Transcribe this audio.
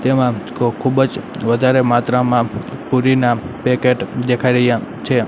તેમાં ખૂ ખૂબ જ વધારે માત્રામાં પુરીના પેકેટ દેખાઈ રહ્યા છે.